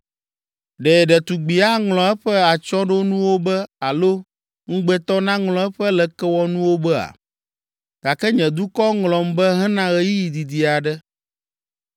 Ɖe ɖetugbi aŋlɔ eƒe atsyɔ̃ɖonuwo be alo ŋugbetɔ naŋlɔ eƒe lekewɔnuwo bea? Gake nye dukɔ ŋlɔm be hena ɣeyiɣi didi aɖe.